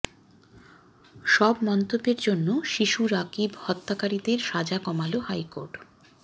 সব মন্তব্যের জন্য শিশু রাকিব হত্যাকারীদের সাজা কমাল হাইকোর্ট